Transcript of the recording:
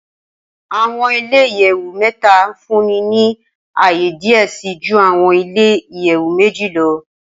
Awọn ile iyẹwu mẹta nfunni ni aaye diẹ sii ju awọn ile iyẹwu meji lọ.